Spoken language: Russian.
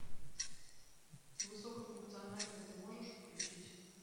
высокофункциональный ты можешь включить